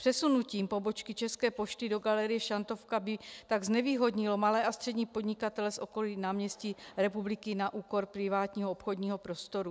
Přesunutí pobočky České pošty do galerie Šantovka by tak znevýhodnilo malé a střední podnikatele z okolí náměstí Republiky na úkor privátního obchodního prostoru.